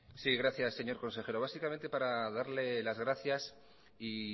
sí gracias señor consejero básicamente para darle las gracias y